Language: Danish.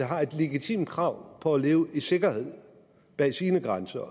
har et legitimt krav på at leve i sikkerhed bag sine grænser